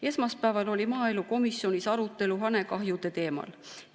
Esmaspäeval oli maaelukomisjonis arutelu hanekahjude teemal.